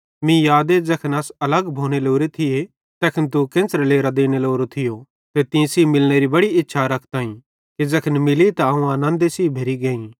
मीं यादे ज़ैखन अस अलग भोने लोरे थिये तैखन तू केन्च़रे लेरां देने लोरो थियो ते तीं सेइं मिलनेरी बड़ी इच्छा रखताई कि ज़ैखन मिली त अवं आनन्दे सेइं भरी गेइ